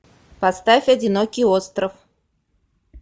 поставь одинокий остров